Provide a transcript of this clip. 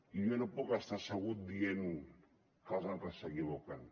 i jo no puc estar assegut dient que els altres s’equivoquen